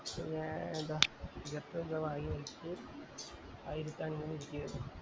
പിന്നേ എന്ത ദിവസോ അൻറെ ആയിരത്തിഅഞ്ഞൂറ്റി